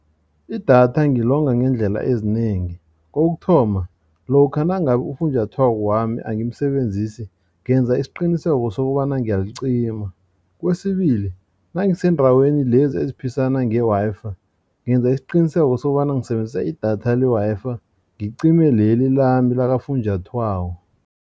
Idatha ngilonga ngeendlela ezinengi kokuthoma lokha nangabe ufunjathwako wami angimsebenzisi ngenza isiqiniseko sokobana ngiyalicima. Kwesibili nangiseendaweni lezi eziphisana nge-Wi-Fi ngenza isiqiniseko sokobana ngisebenzisa idatha le Wi-Fi ngicime leli lami lakafunjathwako.